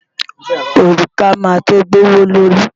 Òrùka máa tó gbówó lórí.